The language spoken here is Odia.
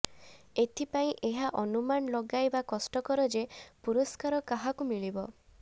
ଏଥିପାଇଁ ଏହା ଅନୁମାନ ଲଗାଇବା କଷ୍ଟକର ଯେ ପୁରସ୍କାର କାହାକୁ ମିଳିବ